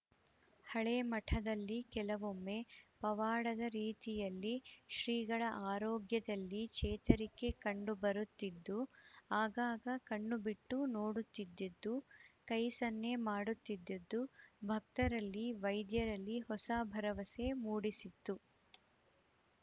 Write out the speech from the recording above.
ಹಳೆ ಮಠದಲ್ಲಿ ಕೆಲವೊಮ್ಮೆ ಪವಾಡದ ರೀತಿಯಲ್ಲಿ ಶ್ರೀಗಳ ಆರೋಗ್ಯದಲ್ಲಿ ಚೇತರಿಕೆ ಕಂಡು ಬರುತ್ತಿದ್ದುದು ಆಗಾಗ ಕಣ್ಣು ಬಿಟ್ಟು ನೋಡುತ್ತಿದ್ದುದು ಕೈ ಸನ್ನೆ ಮಾಡುತ್ತಿದ್ದುದು ಭಕ್ತರಲ್ಲಿ ವೈದ್ಯರಲ್ಲಿ ಹೊಸ ಭರವಸೆ ಮೂಡಿಸಿತ್ತು